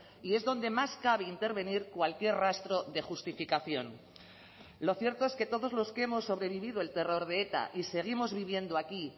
y es donde más cabe intervenir cualquier rastro de justificación lo cierto es que todos los que hemos sobrevivido el terror de eta y seguimos viviendo aquí